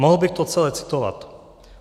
Mohl bych to celé citovat.